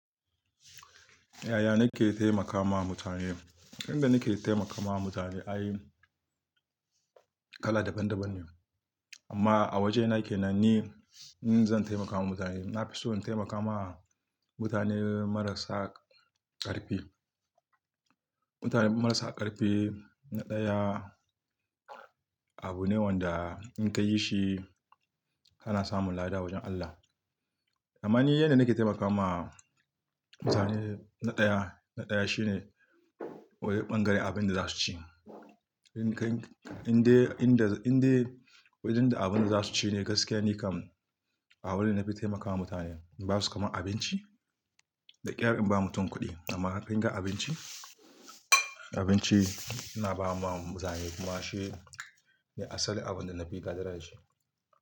Yaya nake taimaka ma mutane? Inda nike taimaka ma mutane, ai kala daban daban ne. Amma a wajena kenan ni, in zan taimaka wa mutane, nafison taimaka ma mutane marasa ƙarfi. Mutane marasa ƙarfi, na ɗaya, abu ne wanda in ka yi shi kana samun lada a wajen Allah. Amma ni yanda nake taimaka ma mutane na ɗaya, na ɗaya shine, waje ɓangaren abin da za su ci. In ka, in dai, in da, in dai wajen da abin da za su ci ne gaskiya nikam, abu da na fi taimakawa mutane. In ba su kama abinci, da ƙyar in ba mutum kuɗi, amma kinga abinci, abinci, ina ba ma mutane kuma shi, ne asali abun da na fi ƙadira da shi.